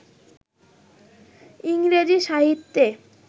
ইংরেজি সাহিত্যে